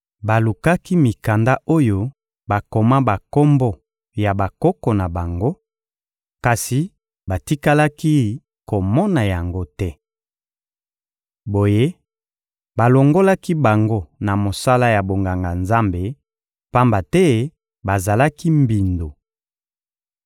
Balukaki mikanda oyo bakoma bakombo ya bakoko na bango, kasi batikalaki komona yango te. Boye balongolaki bango na mosala ya bonganga-Nzambe, pamba te bazalaki mbindo.